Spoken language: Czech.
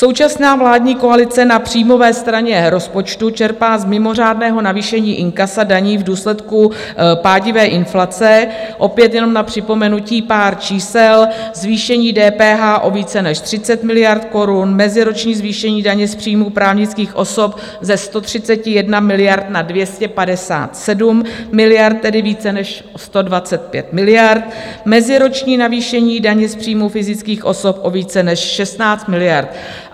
Současná vládní koalice na příjmové straně rozpočtu čerpá z mimořádného navýšení inkasa daní v důsledku pádivé inflace, opět jenom na připomenutí pár čísel: zvýšení DPH o více než 30 miliard korun, meziroční zvýšení daně z příjmů právnických osob ze 131 miliard na 257 miliard, tedy více než 125 miliard, meziroční navýšení daně z příjmů fyzických osob o více než 16 miliard.